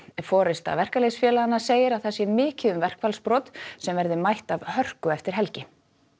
forysta verkalýðsfélaganna segir að það sé mikið um verkfallsbrot sem verði mætt af hörku eftir helgi